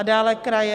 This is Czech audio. A dále kraje...